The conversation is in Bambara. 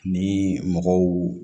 Ni mɔgɔw